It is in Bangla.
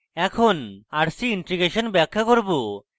এখন rc integration ব্যাখ্যা করব